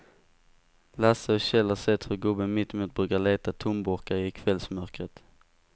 Lasse och Kjell har sett hur gubben mittemot brukar leta tomburkar i kvällsmörkret.